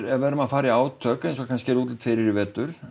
ef við erum að fara í átök eins og kannski er útlit fyrir í vetur